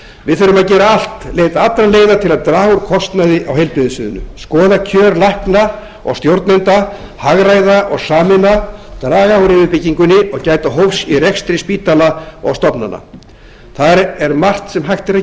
við þurfum að gera allt leita allra leiða til að draga úr kostnaði á heilbrigðissviðinu skoða kjör lækna og stjórnenda hagræða og sameina draga úr yfirbyggingunni og gæta hófs í rekstri spítala og stofnana þar er margt sem hægt er að